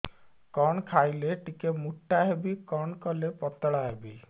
କଣ ଖାଇଲେ ଟିକେ ମୁଟା ହେବି କଣ କଲେ ପତଳା ହେବି